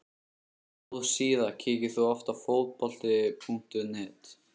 Góð síða Kíkir þú oft á Fótbolti.net?